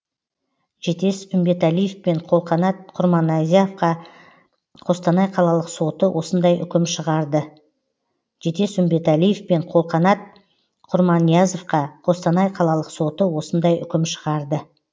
жетес үмбеталиев пен қолқанат құрманиязовқа қостанай қалалық соты осындай үкім шығарды